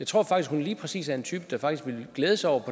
tror at hun lige præcis er en type der faktisk ville glæde sig over